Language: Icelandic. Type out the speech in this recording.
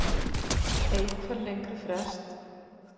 Eik fær lengri frest